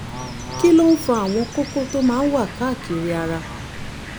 kí ló ń fa àwọn kókó tó máa ń wà káàkiri ara?